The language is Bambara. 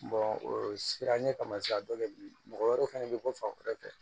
o siranɲɛ kamasira dɔ bɛ bilen mɔgɔ wɛrɛ fana bɛ bɔ fan wɛrɛ fɛ